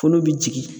Fulu bɛ jigin